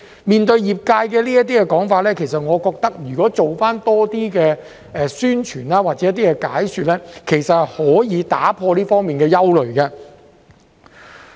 面對業界這些說法，我認為政府能多做一些宣傳或解說工作的話，其實便可以打破這方面的憂慮。